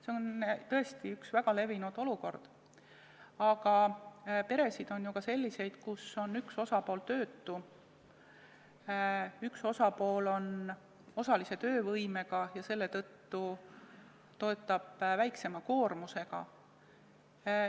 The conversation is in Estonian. See on tõesti üks väga levinud olukordi, aga peresid on ju ka selliseid, kus üks osapool on töötu või üks osapool on osalise töövõimega ja selle tõttu töötab väiksema koormusega.